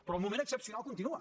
però el moment excepcional continua